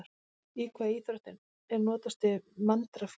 Í hvaða íþrótt er notast við Monrad-kerfið?